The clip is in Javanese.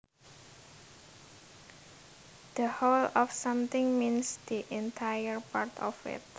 The whole of something means the entire part of it